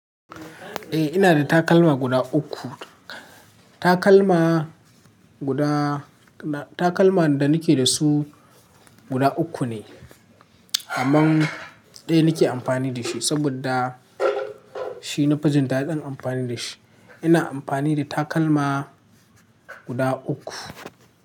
Eh, ina da takalma guda uku. Takalma guda, takalma da nake da su guda uku ne, amma ɗaya nake amfani da shi saboda shi na fijin daɗin amfani da shi. Ina amfani da takalma guda uku.